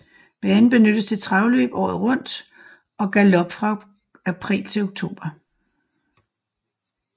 Banen benyttes til travløb året rundt og galop fra april til oktober